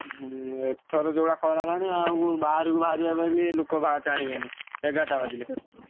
ହୁଁ ଏଥର ଯୋଉଭଳିଆ ଖରା ହେଲାଣି ଆଉ ବାହାରକୁ ବାହାରିଆ ପାଇଁ ବି ଲୋକ ବା ଚାହିଁବେନି। ଏଗାରେଟା ବାଜିଲେ।